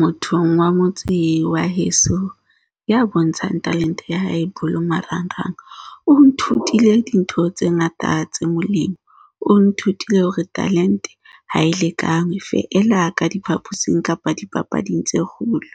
Mothong wa motse wa heso ya bontshang talente ya hae bolo marangrang o nthutile dintho tse ngata tse molemo. O nthutile hore talente ha e lekane feela ka diphaposing kapa dipapading tse kgolo.